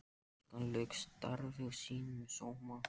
Stúlkan lauk starfi sínu með sóma.